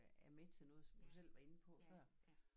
Er med til noget som du selv var inde på før